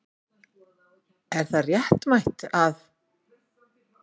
Er það réttmætt að.